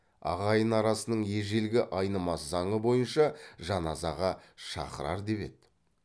ағайын арасының ежелгі айнымас заңы бойынша жаназаға шақырар деп еді